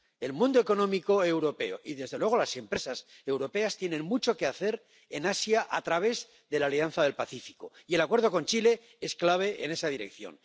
El mundo económico europeo y, desde luego, las empresas europeas tienen mucho que hacer en Asia a través de la Alianza del Pacífico, y el acuerdo con Chile es clave en esa dirección.